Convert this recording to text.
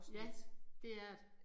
Ja det er det